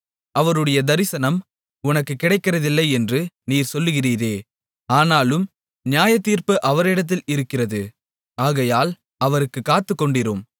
அவருடைய தரிசனம் உமக்குக் கிடைக்கிறதில்லை என்று நீர் சொல்லுகிறீரே ஆனாலும் நியாயத்தீர்ப்பு அவரிடத்தில் இருக்கிறது ஆகையால் அவருக்குக் காத்துக்கொண்டிரும்